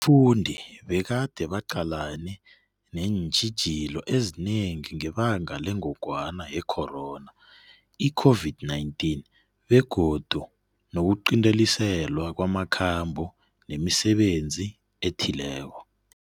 Abafundi bekade baqalene neentjhijilo ezinengi ngebanga lengogwana yekhorona, iCOVID-19, begodu nokuqinteliswa kwamakhambo nemisebenzi ethileko.